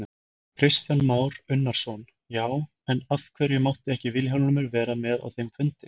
Kristján Már Unnarsson: Já, en af hverju mátti ekki Vilhjálmur vera með á þeim fundi?